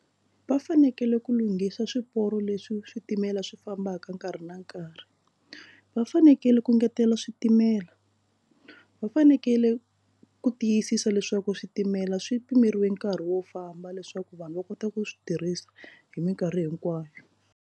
Va fanekele ku lunghisa swiporo leswi switimela swi fambaka nkarhi na nkarhi va fanekele ku ngetela switimela va fanekele ku tiyisisa leswaku switimela swi pimeriwe nkarhi wo famba leswaku vanhu va kota ku swi tirhisa hi minkarhi hinkwayo.